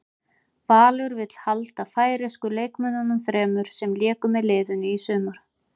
Valur vill halda færeysku leikmönnunum þremur sem léku með liðinu í sumar.